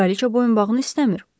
Kraliça boyunbağını istəmir.